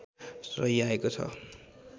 रहिआएको छ